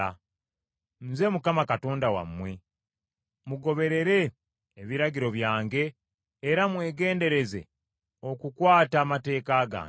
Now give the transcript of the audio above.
Nze Mukama Katonda wammwe, mugoberere ebiragiro byange era mwegendereze okukwata amateeka gange,